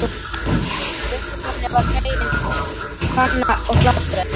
Göngukonunni var fengin kanna og flatbrauð.